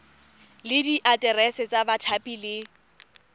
le diaterese tsa bathapi le